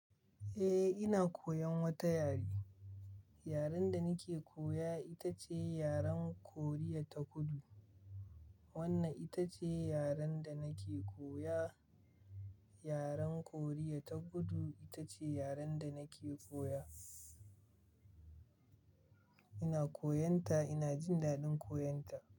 Eh, ina koyan wata yare. Yaren da nake koya ita ce yaren Korea ta Kudu. Wannan ita ce yaren da nake koya. Yaren Korea ta Kudu ita ce yaren da nake koya. Ina koyon ta, ina jin daɗin koyon ta.